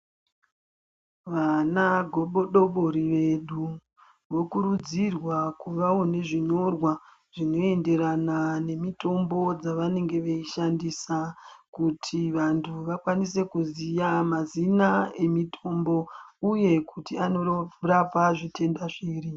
Vana gobodobori vedu vokurudzirwa kuvawo nezvinyorwa zvinoenderana nemitombo dzavanenge veishandisa kuti vantu vakwanise kuziya mazina emitombo uye kuti anorapa zvitenda zviri.